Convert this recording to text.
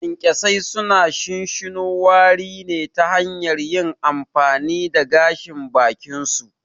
Kyankyasai suna shinshino wari ne ta hanyar yin amfani da gashin bakinsu.